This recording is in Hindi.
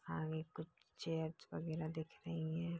आगे कुछ चेयर्स वगैरा दिख रही हैं।